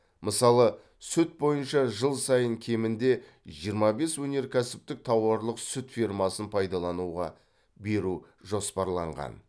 мысалы сүт бойынша жыл сайын кемінде жиырма бес өнеркәсіптік тауарлық сүт фермасын пайдалануға беру жоспарланған